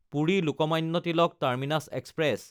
পুৰি–লোকমান্য Tilak terminus express